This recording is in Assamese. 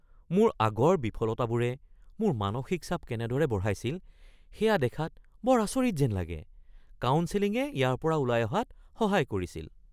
মোৰ আগৰ বিফলতাবোৰে মোৰ মানসিক চাপ কেনেদৰে বঢ়াইছিল সেয়া দেখাত বৰ আচৰিত যেন লাগে। কাউন্সেলিঙে ইয়াৰ পৰা ওলাই অহাত সহায় কৰিছিল।